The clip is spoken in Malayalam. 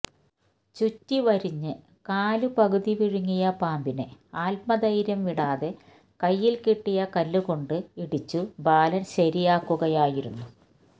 ചുറ്റിവരിഞ്ഞ് കാല് പകുതി വിഴുങ്ങിയ പാമ്പിനെ ആത്മധൈര്യം വിടാതെ കയ്യില് കിട്ടിയ കല്ലുകൊണ്ട് ഇടിച്ചു ബാലന് ശരിയാക്കുകയായിരുന്നു